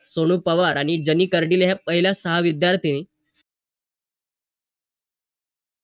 पण ते हाय ना ते होतच नव्हत म्हणजे हाय ना गाडी घेतली ना तशी माझी काम तीन ते चार पटीन fast व्हायला लागली आणि वेळ पण कमी वाचाय लागला माझा. तर अशा अस करून माझं